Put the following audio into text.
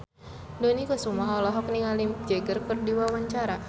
Dony Kesuma olohok ningali Mick Jagger keur diwawancara